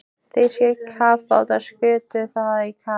Þýskir kafbátar skutu það í kaf.